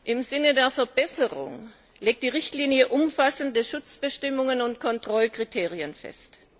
Im Sinne der Verbesserung legt die Richtlinie umfassende Schutzbestimmungen und Kontrollkriterien fest.